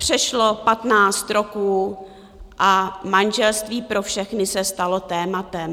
Přešlo patnáct roků a manželství pro všechny se stalo tématem.